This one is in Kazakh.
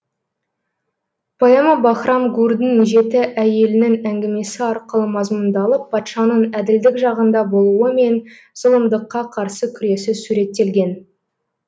поэма баһрам гурдің жеті әйелінің әңгімесі арқылы мазмұндалып патшаның әділдік жағында болуы мен зұлымдыққа қарсы күресі суреттелген